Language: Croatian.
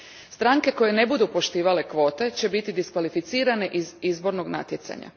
Stranke koje ne budu poštivale kvote će biti diskvalificirane iz izbornog natjecanja.